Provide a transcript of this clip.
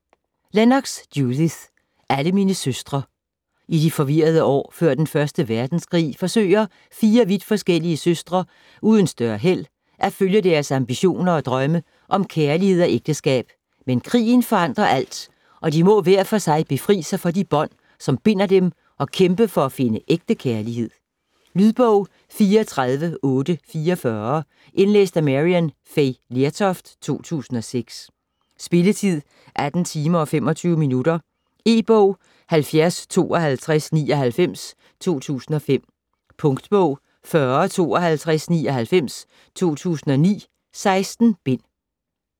Lennox, Judith: Alle mine søstre I de forvirrede år før den 1. verdenskrig forsøger fire vidt forskellige søstre uden større held at følge deres ambitioner og drømme om kærlighed og ægteskab, men krigen forandrer alt, og de må hver for sig befri sig for de bånd, som binder dem og kæmpe for at finde ægte kærlighed. Lydbog 34844 Indlæst af Maryann Fay Lertoft, 2006. Spilletid: 18 timer, 25 minutter. E-bog 705299 2005. Punktbog 405299 2009. 16 bind.